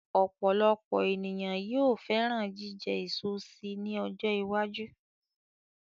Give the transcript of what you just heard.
Ọ̀pọ̀lọpọ̀ ènìyàn yóò fẹ́ràn jíjẹ eso si ní ọjọ́ iwájú